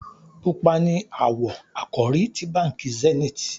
Pupa ní awọ àkòrí tí bánkì Zenith